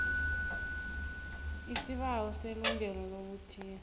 isibawo selungelo lokuthiya